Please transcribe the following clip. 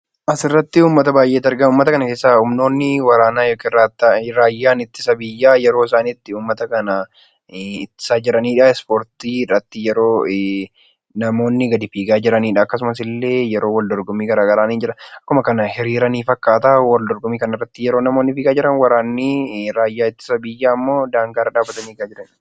Asirratti uummata baay'eetu argama. Uummata kana keessaa humnoonni waraanaa yookiin raayyaa ittisa biyyaa yeroo isaan itti isaan uummata ittisaa jiranidha. Ispoortii irratti namoonni gadi fiigaa yeroon wal dorgommii garaagaraa ni jira. Akkuma kana hiriiranii fakkaata wal dorgommii kanarratti namoonni fiigaa jiran waraanni ittisa biyyaammoo daangaarra dhaabbatanii eegaa jiran.